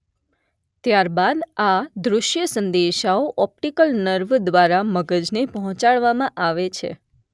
ત્યાર બાદ આ દૃષ્ય સંદેશાઓ ઑપ્ટિકલ નર્વ દ્વારા મગજને પહોંચાડવામાં આવે છે.